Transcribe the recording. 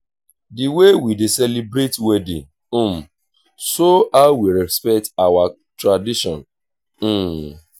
the way we dey celebrate wedding um show how we respect our tradition. um